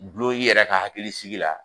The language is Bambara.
Dulon y'i yɛrɛ ka hakilisigi la